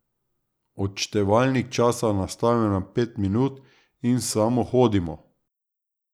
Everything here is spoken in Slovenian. Odštevalnik časa nastavimo na pet minut in samo hodimo.